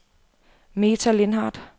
Meta Lindhardt